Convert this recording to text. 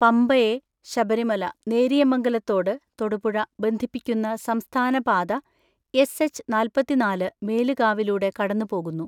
പമ്പ (ശബരിമല)യെ നേരിയമംഗലത്തോട് (തൊടുപുഴ) ബന്ധിപ്പിക്കുന്ന സംസ്ഥാന പാത എസ് എച്ച് നാൽപതിനാല് മേലുകാവിലൂടെ കടന്നുപോകുന്നു.